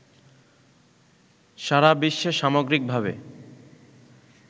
সারাবিশ্বে সামগ্রিকভাবে